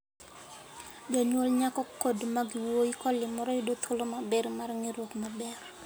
Jonyuol nyako kod mag wuoyi kolimore yudo thuolo maber mar ng'eruok maber.